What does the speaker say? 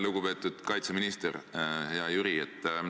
Lugupeetud kaitseminister, hea Jüri!